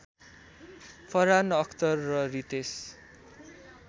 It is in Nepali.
फरहान अख्तर र रितेश